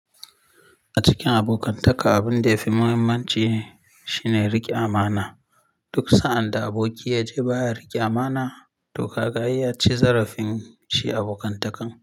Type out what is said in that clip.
A cikin abokantaka, abin da ya fi muhimmanci shine riƙe amana. Duk sa'an da aboki ya je ba ya riƙe amana, to ka ga ai ya ci zarafin shi abokantakan.